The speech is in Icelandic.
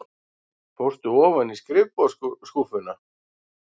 Fórstu ofan í skrifborðsskúffuna?